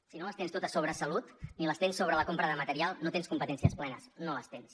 si no les tens totes sobre salut ni les tens sobre la compra de material no tens competències plenes no les tens